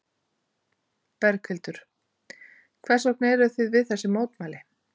Berghildur: Hvers vegna eruð þið við þessi mótmæli?